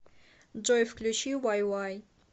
джой включи уай уай